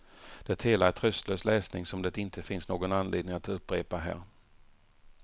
Det hela är tröstlös läsning som det inte finns någon anledning att upprepa här.